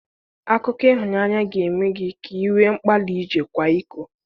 Akụkọ ịhụnanya ga-eme gị ka i nwee nkpali ije kwaa iko.